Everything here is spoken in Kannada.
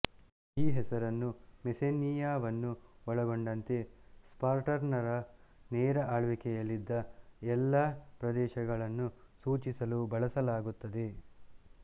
ಈ ಹೆಸರನ್ನು ಮೆಸ್ಸೆನಿಯವನ್ನು ಒಳಗೊಂಡಂತೆ ಸ್ಪಾರ್ಟನ್ನರ ನೇರ ಆಳ್ವಿಕೆಯಲ್ಲಿದ್ದ ಎಲ್ಲಾ ಪ್ರದೇಶಗಳನ್ನು ಸೂಚಿಸಲು ಬಳಸಲಾಗುತ್ತದೆ